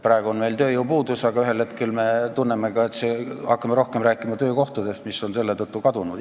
Praegu on meil tööjõupuudus, aga ühel hetkel me hakkame rohkem rääkima töökohtadest, mis on selle tõttu kadunud.